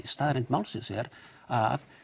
staðreynd málsins er að